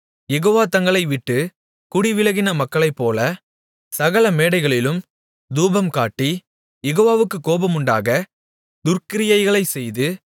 யெகோவா தங்களை விட்டுக் குடிவிலக்கின மக்களைப்போல சகல மேடைகளிலும் தூபம்காட்டி யெகோவாவுக்குக் கோபமுண்டாகத் துர்க்கிரியைகளைச் செய்து